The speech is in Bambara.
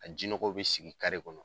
A jinɔgɔw bi sigi kare kɔnɔ.